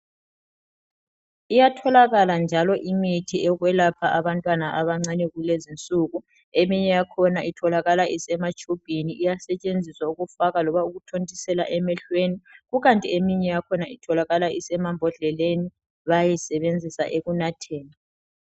Iyatholakala njalo imithi yokwelapha abantwana abancane kulezinsuku eminye yakhona itholakala isematshubhini, iyasetshenziswa ukufaka noma ukuthontisela emehlweni kukanti eminye yakhona itholakala isemambodleleni bayayisebenzisa ekunatheni.